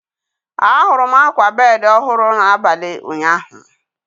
Ahụrụ m akwa bedi ọhụrụ n'abalị ụnyaahụ.